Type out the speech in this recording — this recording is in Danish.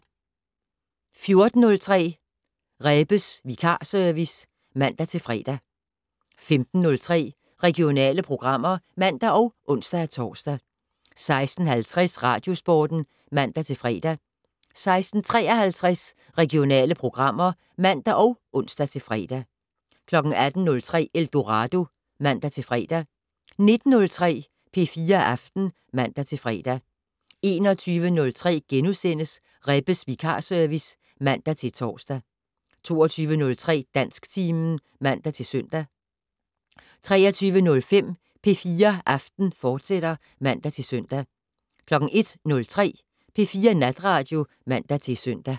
14:03: Rebbes vikarservice (man-fre) 15:03: Regionale programmer (man og ons-tor) 16:50: Radiosporten (man-fre) 16:53: Regionale programmer (man og ons-fre) 18:03: Eldorado (man-fre) 19:03: P4 Aften (man-fre) 21:03: Rebbes vikarservice *(man-tor) 22:03: Dansktimen (man-søn) 23:05: P4 Aften, fortsat (man-søn) 01:03: P4 Natradio (man-søn)